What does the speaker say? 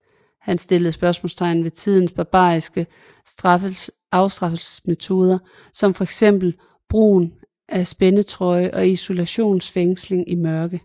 Han stillede spørgsmålstegn ved tidens barbariske afstraffelsesmetoder som fx brugen af spændetrøje og isolationsfængsling i mørke